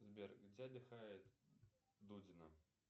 сбер где отдыхает дудина